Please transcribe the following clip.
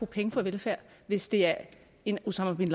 penge på velfærd hvis det er en osama bin